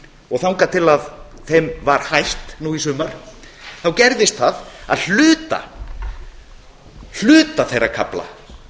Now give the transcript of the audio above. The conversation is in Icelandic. og þangað til þeim var hætt nú í sumar þá gerðist það að hluta þeirra kafla